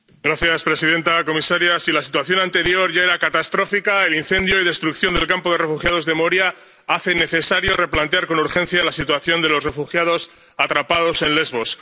Señora presidenta, señora comisaria, si la situación anterior ya era catastrófica, el incendio y destrucción del campo de refugiados de Moria hace necesario replantear con urgencia la situación de los refugiados atrapados en Lesbos.